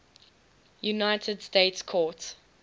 united states court